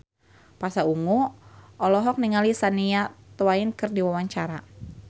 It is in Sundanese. Pasha Ungu olohok ningali Shania Twain keur diwawancara